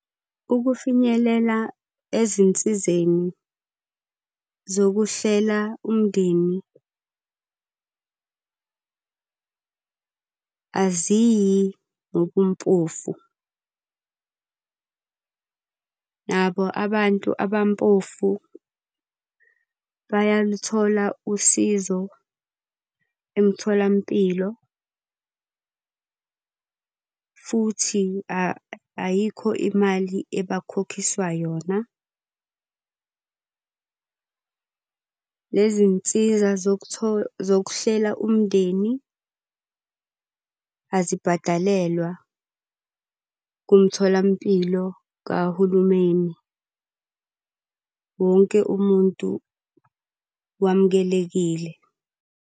Ukufinyelela ezinsizeni zokuhlela umndeni aziyi ngobumpofu. Nabo abantu abampofu bayaluthola usizo emtholampilo, futhi ayikho imali ebakhokhiswa yona. Nezinsiza zokuhlela umndeni azibhadalelwa kumtholampilo kahulumeni. Wonke umuntu wamukelekile.